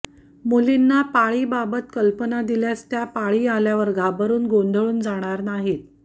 मुलींना पाळीबाबत कल्पना दिल्यास त्या पाळी आल्यावर घाबरुन गोंधळून जाणार नाहीत